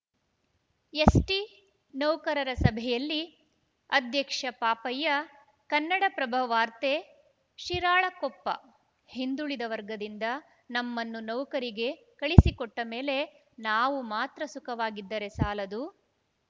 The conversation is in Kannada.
ಎಸ್‌ಟಿ ನೌಕರರ ಸಭೆಯಲ್ಲಿ ಅಧ್ಯಕ್ಷ ಪಾಪಯ್ಯ ಕನ್ನಡಪ್ರಭ ವಾರ್ತೆ ಶಿರಾಳಕೊಪ್ಪ ಹಿಂದುಳಿದ ವಗರ್‍ದಿಂದ ನಮ್ಮನ್ನು ನೌಕರಿಗೆ ಕಳಿಸಿಕೊಟ್ಟಮೇಲೆ ನಾವು ಮಾತ್ರ ಸುಖವಾಗಿದ್ದರೆ ಸಾಲದು